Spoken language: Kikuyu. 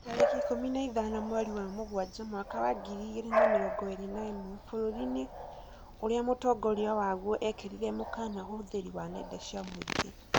Tarĩki ikũmi na ithano mweri wa Mũgaa mwaka wa ngiri igĩrĩ na mĩrongo ĩrĩ na ĩmwe, bũrũri-inĩ ũrĩa mũtongoria waguo ekĩrirĩre mũkana ũhũthĩri wa nenda cia mũingĩ